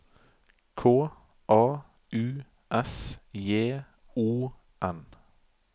K A U S J O N